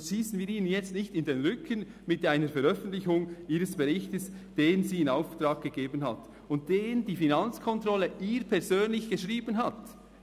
Schiessen wir ihnen jetzt nicht in den Rücken mit einer Veröffentlichung ihres Berichts, den sie in Auftrag gegeben haben und den die Finanzkontrolle für sie persönlich geschrieben hat,